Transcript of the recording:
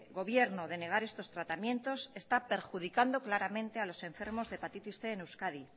gobierno de negar estos tratamientos está perjudicando claramente a los enfermos de hepatitis cien en euskadi